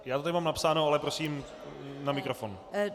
Já to zde mám napsáno, ale prosím na mikrofon.